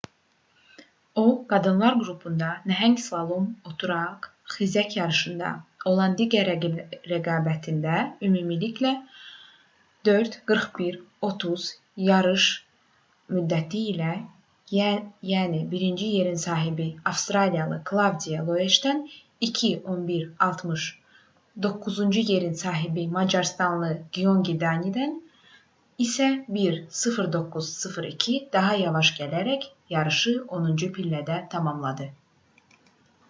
o qadınlar qrupunda nəhəng slalom oturaq xizək yarışında olan digər rəqabətində ümumilikdə 4:41:30 yarış müddəti ilə yəni birinci yerin sahibi avstriyalı klavdiya loeşdən 2:11:60 doqquzuncu yerin sahibi macarıstanlı gyöngi danidən isə 1:09:02 daha yavaş gələrək yarışı onuncu pillədə tamamladı